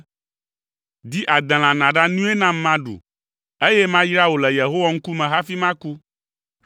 ‘Di adelã nàɖa nui nam maɖu, eye mayra wò le Yehowa ŋkume hafi maku.’ ”